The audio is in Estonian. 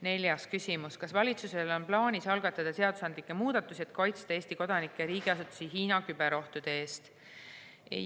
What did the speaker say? Neljas küsimus: "Kas valitsusel on plaanis algatada seadusandlikke muudatusi, et kaitsta Eesti kodanikke ja riigiasutusi Hiina küberohtude eest?